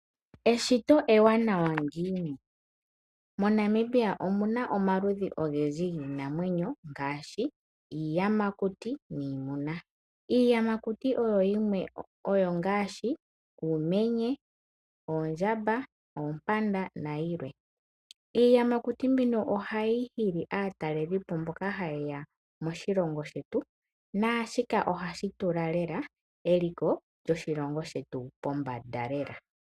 Eshito ewanawa ngiini. MoNamibia omu na omaludhi ogendji giinamwenyo ngaashi iiyamakuti niimuna. Iiyamakuti oyo ngaashi uumenye, oondjamba, oompanda nayilwe. Iiyamakuti mbino ohayi hili aatalelipo mboka haye ya moshilongo shetu naashika ohashi tula lela eliko lyoshilongo shetu pombanda lela.